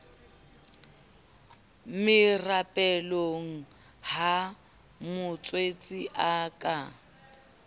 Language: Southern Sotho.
merapelong ha motswetse a ka